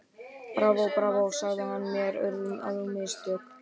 Bravó, bravó sagði hann, mér urðu á mistök.